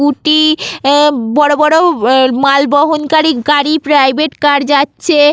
scooty আ বড়ো বড়ো আ মালবহন কারি গাড়ি প্রাইভেট কার যাচ্ছে--